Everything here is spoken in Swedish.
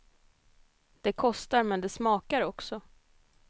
Det kostar, men det smakar också.